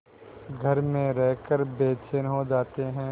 घर में रहकर बेचैन हो जाते हैं